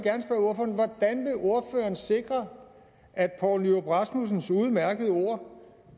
ordføreren sikre at poul nyrup rasmussens udmærkede ord